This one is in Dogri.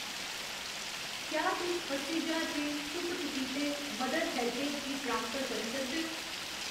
क्या तुस अस्सी ज्हार रपेऽ चुप्प चपीते मदर हैल्पेज गी ट्रासफर करी सकदे ओ ?